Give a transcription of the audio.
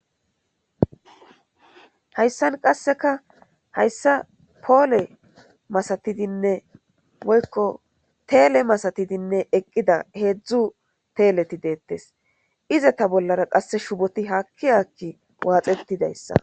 hayssan qasseka hayssa poole masatidinne woykko teele masatidinne eqqida heedzdzu teeleti deettes ize ta bollara qasse shuboti haakki haakki waaxettidayssa